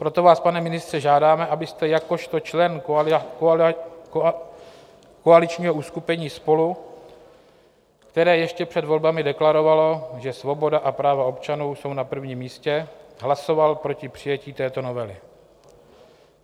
Proto vás, pane ministře, žádáme, abyste jakožto člen koaličního uskupení SPOLU, které ještě před volbami deklarovalo, že svoboda a práva občanů jsou na první místě, hlasoval proti přijetí této novely.